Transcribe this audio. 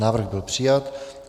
Návrh byl přijat.